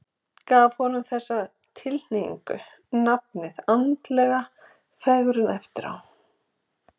Gaf hann þessari tilhneigingu nafnið andleg fegrun eftir á.